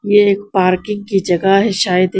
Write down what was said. ये एक पार्किंग की जगा है शायद ये--